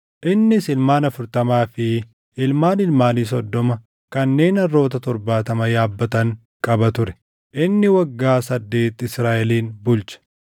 Innis ilmaan afurtamaa fi ilmaan ilmaanii soddoma kanneen harroota torbaatama yaabbatan qaba ture. Inni waggaa saddeeti Israaʼelin bulche.